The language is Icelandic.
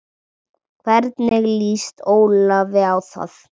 Hvernig lýst Ólafi á það?